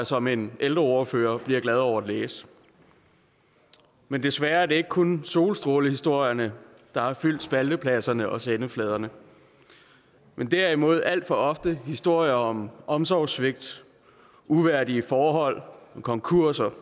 som en ældreordfører bliver glad over at læse men desværre er det ikke kun solstrålehistorierne der har fyldt spaltepladserne og sendefladerne men derimod alt for ofte historier om omsorgssvigt uværdige forhold og konkurser